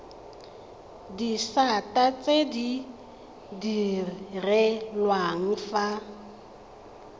disata tse di direlwang fa